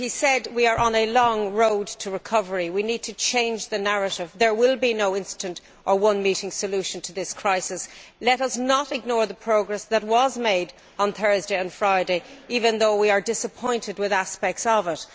He said that we are on a long road to recovery. We need to change the narrative. There will be no instant or one meeting solution to this crisis. Let us not ignore the progress that was made on Thursday and Friday, even though we are disappointed with aspects of